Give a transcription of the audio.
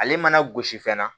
Ale mana gosi fɛnɛ